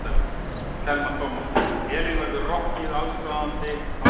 Telma Tómasson: Elín, verður rokkið allsráðandi á Húrra?